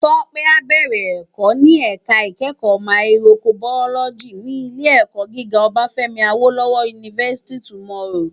Tope á bèrè èkò ni èká ikèékò máyìkróbàyólòjí ti Ilé èkò gigá Obafemi Awolowo University tomorrow